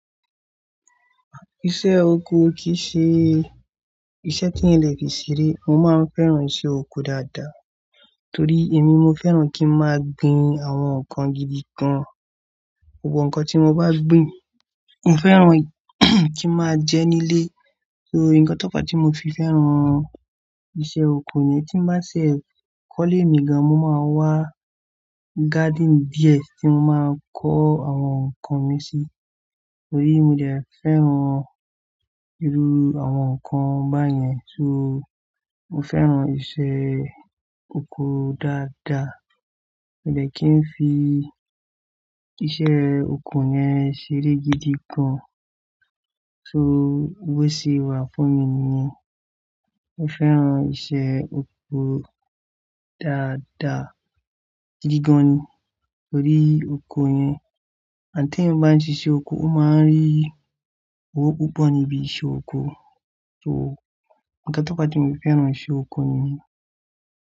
Iṣẹ́ oko kì í ṣe iṣẹ́ tí ẹ́ lè fi ṣeré. Mo máa ń fẹ́ràn iṣẹ́ oko dáadáa torí èmi mo fẹ́ràn kí n máa gbin àwọn nǹkan gidi gan-an. Gbogbo nǹkan tí mo bá gbin, mo fẹ́ràn kíi máa jẹ nílé. So nǹkan tó fa tí mo fi fẹ́ràn iṣẹ́ oko ni tí má sè kọ́lé mi gan, mo máa ń wá garden beer tí mo máa kọ́ àwọn nǹkan mi sí. Torí mo dè fẹ́ràn irú àwọn nǹkan báyẹn. So mo fẹ́ràn iṣẹ́ oko dáadáa. Mi ò dè kí n fi iṣẹ́ oko yẹn ṣeré gidi gan. So bó ṣe wà fún mi ni mo fẹ́ràn iṣẹ́ oko dáadáa, gidi gan-an ni. Torí oko yẹn, ànd tí eyan bá ń ṣiṣẹ́ oko, mo máa ń rí owó púpọ̀ níbi iṣẹ́ oko. So nǹkan tó fa tí mo fi fẹ́ràn iṣẹ́ oko nìyẹn.